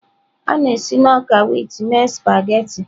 A na-esi na ọka wit mee spaghetị.